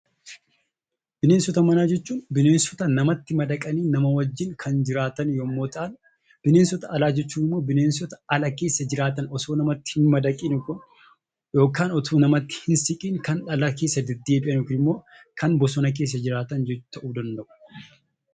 Bineensota manaa jechuun bineensota namatti madaqanii namaa wajjin kan jiraatan yoo ta'an jechuudha. Bineensota alaa jechuun kan namatti osoo hin madaqin jiraatan jechuudha akkasumas osoo namatti hin siqin bosina keessa jiraatan jechuudha